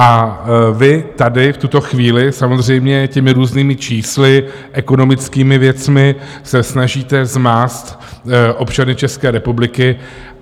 A vy tady v tuto chvíli samozřejmě těmi různými čísly, ekonomickými věcmi se snažíte zmást občany České republiky.